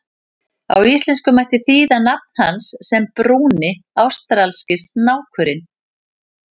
Á íslensku mætti þýða nafn hans sem Brúni ástralski snákurinn.